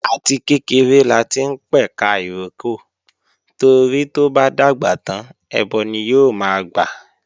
Àti kékeré láti ń pẹ̀ka ìrókò torí tó bá dàgbà tán ẹbọ ni yóò máa gbà